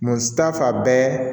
Musata bɛɛ